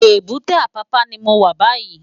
Ébùté Apapa ni mó wá bàyí